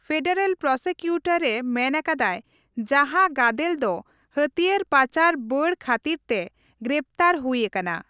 Federal ᱯᱨᱚᱥᱤᱠᱤᱭᱩᱴᱚᱨᱮ ᱢᱮᱱ ᱟᱠᱟᱫᱟᱭ ᱡᱟᱦᱟᱸ ᱜᱟᱫᱮᱞ ᱫᱚ ᱦᱟᱹᱛᱭᱟᱹᱨ ᱯᱟᱪᱟᱨ ᱵᱟᱹᱰ ᱠᱷᱟᱹᱛᱤᱨᱛᱮ ᱜᱨᱮᱯᱷᱛᱟᱨ ᱦᱩᱭ ᱟᱠᱟᱱᱟ ᱾